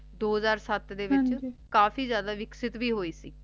ਦੋ ਹਾਜ਼ਰ ਸਤਿ ਦੇ ਵਿਚ ਹਾਂਜੀ ਕਾਫੀ ਜ਼ਿਆਦਾ ਵਿਕਸਿਕ ਭੀ ਹੀ ਸੀ